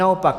Naopak.